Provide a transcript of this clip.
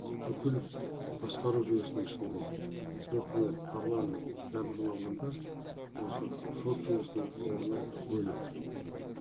бүкіл басқару жүйесінің ішінде өкімет парламент барлығын алғанда осы сот жүйесінің орны бөлек